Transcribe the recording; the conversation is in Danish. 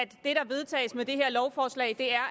der vedtages med det her lovforslag er